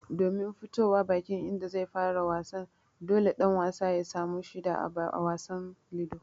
Domin fitowa bakin inda zai fara wasa, dole ɗan wasan ya samu shida a wasan Ludo.